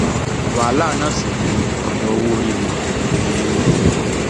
wàhálà náà sì ni ọrọ owóorí wọn um